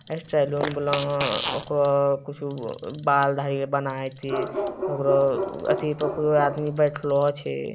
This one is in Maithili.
ए सैलून गेलो होअ ओकरा कुछु बाल दाढ़ी आर बनाइते ओकरो अथी पर कोय आदमी बैठलो छै।